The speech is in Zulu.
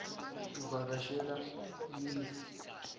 uvaka shela imizi